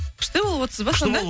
күшті болып отырсыз ба сонда